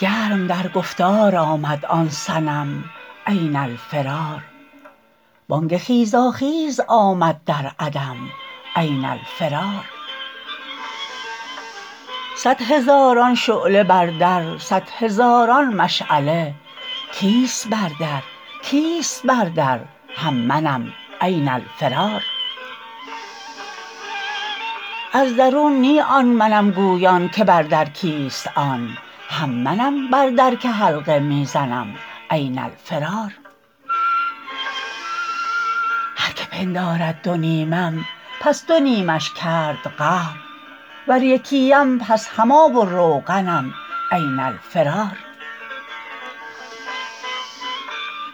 گرم در گفتار آمد آن صنم این الفرار بانگ خیزاخیز آمد در عدم این الفرار صد هزاران شعله بر در صد هزاران مشعله کیست بر در کیست بر در هم منم این الفرار از درون نی آن منم گویان که بر در کیست آن هم منم بر در که حلقه می زنم این الفرار هر که پندارد دو نیمم پس دو نیمش کرد قهر ور یکی ام پس هم آب و روغنم این الفرار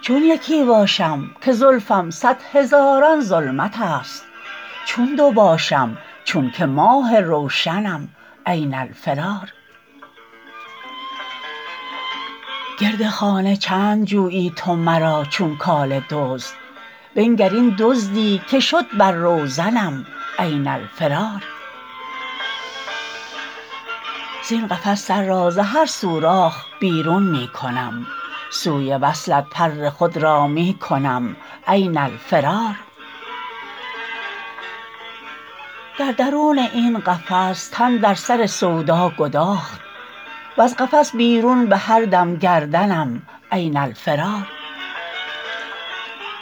چون یکی باشم که زلفم صد هزاران ظلمتست چون دو باشم چونک ماه روشنم این الفرار گرد خانه چند جویی تو مرا چون کاله دزد بنگر این دزدی که شد بر روزنم این الفرار زین قفس سر را ز هر سوراخ بیرون می کنم سوی وصلت پر خود را می کنم این الفرار در درون این قفس تن در سر سودا گداخت وز قفس بیرون به هر دم گردنم این الفرار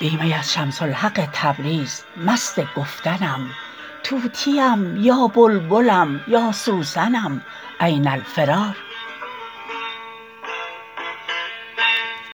بی می از شمس الحق تبریز مست گفتنم طوطیم یا بلبلم یا سوسنم این الفرار